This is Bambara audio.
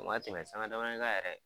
O ma tɛmɛ sanga damani kan yɛrɛ